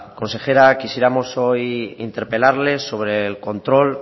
consejera quisiéramos hoy interpelarles sobre el control